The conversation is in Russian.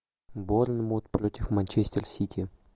борнмут против манчестер сити